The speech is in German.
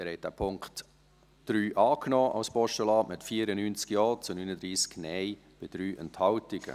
Sie haben den Punkt 3 als Postulat angenommen, mit 94 Ja- zu 39 Nein-Stimmen bei 3 Enthaltungen.